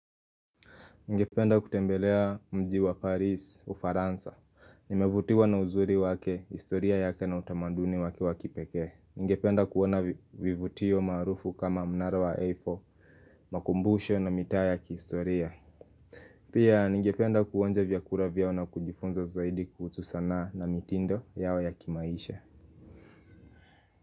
Ningependa kutembelea mji wa Parisi Ufaransa. Nimevutiwa na uzuri wake, historia yake na utamaduni wake wa kipekee. Ngependa kuona vivutio maarufu kama mnara wa Eiffle, makumbusho na mitaa ya kihistoria. Pia ningependa kuonja vyakura vyao na kujifunza zaidi kuhusu sana na mitindo yao ya kimaisha.